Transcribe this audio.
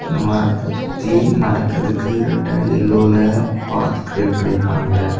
மரத்தைச் சுத்தி நடகிரதுகு ரக்டங்கில் லோல பாத் கிரியேட் பன்னி இருக்காங்க.